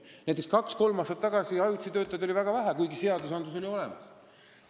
Näiteks oli kaks-kolm aastat tagasi ajutisi töötajaid väga vähe, kuigi seadused olid olemas.